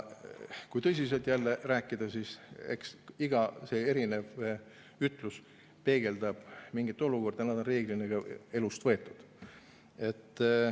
Kui tõsiselt rääkida, siis eks iga ütlus peegeldab mingit olukorda, nad on reeglina ka elust võetud.